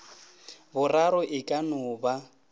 boraro e ka no ba